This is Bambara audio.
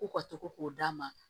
K'u ka to k'o d'a ma